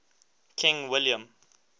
king william